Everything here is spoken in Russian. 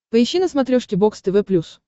поищи на смотрешке бокс тв плюс